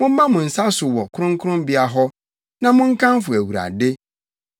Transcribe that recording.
Momma mo nsa so wɔ kronkronbea hɔ na monkamfo Awurade.